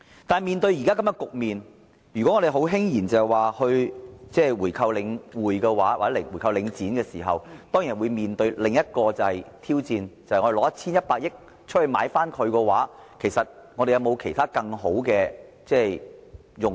但是，面對現在這個局面，如果我們輕言購回領展，當然會面對另一個挑戰，就是與其動用 1,100 億元進行回購，其實這筆錢有沒有其他更好的用途？